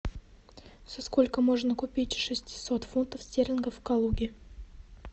за сколько можно купить шестьсот фунтов стерлингов в калуге